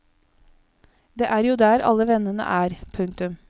Det er jo der alle vennene er. punktum